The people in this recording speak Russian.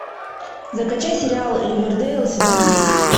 закачай сериал ривердейл сезон десять